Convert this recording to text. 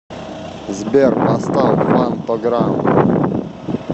сбер поставь фантограм